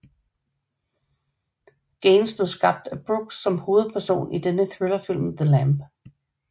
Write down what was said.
Gaines blev skabt af Brooks som hovedperson i dennes thrillerfilm The Lamb